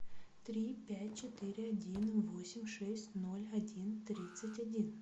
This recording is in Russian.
три пять четыре один восемь шесть ноль один тридцать один